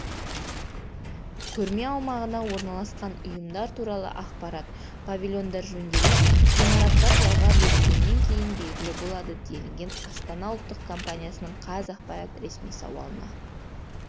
көрме аумағына орналасқан ұйымдар туралы ақпарат павильондар жөнделіп ғимараттар жалға берілгеннен кейін белгілі болады делінген астана ұлттық компаниясының қазақпарат ресми сауалына